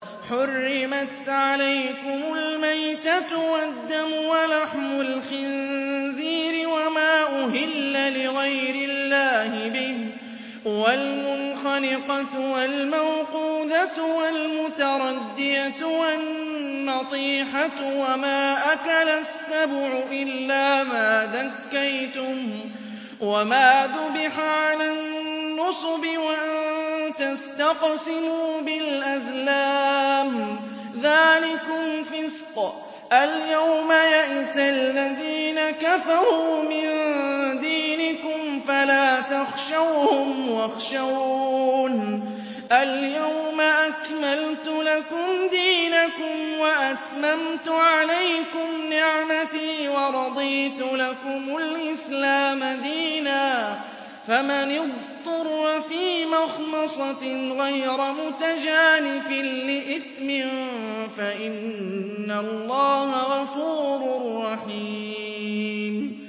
حُرِّمَتْ عَلَيْكُمُ الْمَيْتَةُ وَالدَّمُ وَلَحْمُ الْخِنزِيرِ وَمَا أُهِلَّ لِغَيْرِ اللَّهِ بِهِ وَالْمُنْخَنِقَةُ وَالْمَوْقُوذَةُ وَالْمُتَرَدِّيَةُ وَالنَّطِيحَةُ وَمَا أَكَلَ السَّبُعُ إِلَّا مَا ذَكَّيْتُمْ وَمَا ذُبِحَ عَلَى النُّصُبِ وَأَن تَسْتَقْسِمُوا بِالْأَزْلَامِ ۚ ذَٰلِكُمْ فِسْقٌ ۗ الْيَوْمَ يَئِسَ الَّذِينَ كَفَرُوا مِن دِينِكُمْ فَلَا تَخْشَوْهُمْ وَاخْشَوْنِ ۚ الْيَوْمَ أَكْمَلْتُ لَكُمْ دِينَكُمْ وَأَتْمَمْتُ عَلَيْكُمْ نِعْمَتِي وَرَضِيتُ لَكُمُ الْإِسْلَامَ دِينًا ۚ فَمَنِ اضْطُرَّ فِي مَخْمَصَةٍ غَيْرَ مُتَجَانِفٍ لِّإِثْمٍ ۙ فَإِنَّ اللَّهَ غَفُورٌ رَّحِيمٌ